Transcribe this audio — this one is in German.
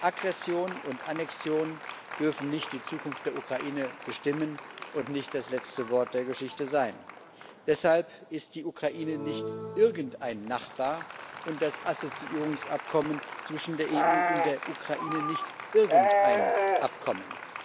Aggression und Annexion dürfen nicht die Zukunft der Ukraine bestimmen und nicht das letzte Wort der Geschichte sein. Deshalb ist die Ukraine nicht irgendein Nachbar und das Assoziierungsabkommen zwischen der EU und der Ukraine nicht irgendein Abkommen.